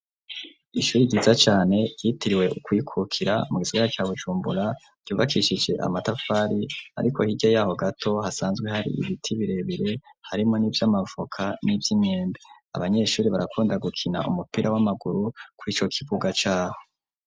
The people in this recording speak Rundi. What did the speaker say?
Ishuri ryiza cane yitiriwe ukwikukira mu gisigara ca Bujumbura ryubakishije amatafari ariko hirya yaho gato hasanzwe hari ibiti birebire harimo n'ivy'amavoka n'ivy'imyembe abanyeshuri barakunda gukina umupira w'amaguru kurico kibuga caho.